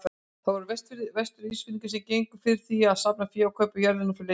Það voru Vestur-Ísfirðingar sem gengust fyrir því að safna fé og kaupa jörðina fyrir leiðtogann.